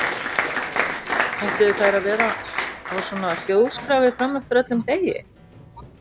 Ætluðu þær að vera á svona hljóðskrafi fram eftir öllum degi?